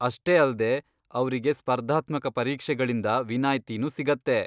ಅಷ್ಟೇ ಅಲ್ದೇ, ಅವ್ರಿಗೆ ಸ್ಪರ್ಧಾತ್ಮಕ ಪರೀಕ್ಷೆಗಳಿಂದ ವಿನಾಯ್ತಿನೂ ಸಿಗತ್ತೆ.